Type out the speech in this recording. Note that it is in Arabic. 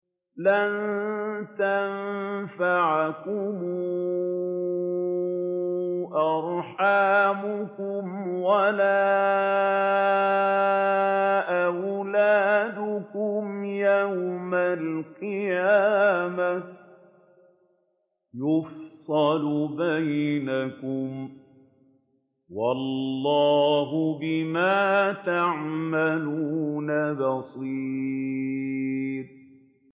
لَن تَنفَعَكُمْ أَرْحَامُكُمْ وَلَا أَوْلَادُكُمْ ۚ يَوْمَ الْقِيَامَةِ يَفْصِلُ بَيْنَكُمْ ۚ وَاللَّهُ بِمَا تَعْمَلُونَ بَصِيرٌ